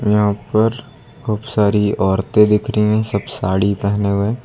यहां पर खूब सारी औरतें दिख रही हैं सब साड़ी पहने हुए।